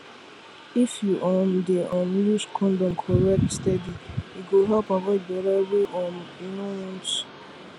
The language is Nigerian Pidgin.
if you um dey um use condom correct steady e go help avoid belle wey um you no want